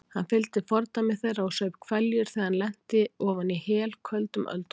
Hann fylgdi fordæmi þeirra og saup hveljur þegar hann lenti ofan í helköldum öldunum.